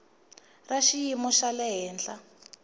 ra xiyimo xa le henhla